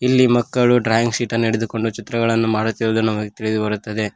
ಇಲ್ಲಿ ಮಕ್ಕಳು drawing sheet ಅನ್ನು ಹಿಡಿದುಕೊಂದು ಚಿತ್ರಗಳನ್ನು ಮಾಡುತ್ತಿರುವುದನ್ನು ನಮಗೆ ತಿಳಿದು ಬರುತ್ತದೆ.